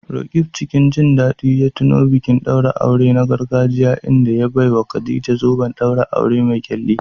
Roqeeb cikin jin daɗi ya tuno bikin ɗaurin aure na gargajiya inda ya baiwa Khadija zoben ɗaurin aure mai ƙyalli.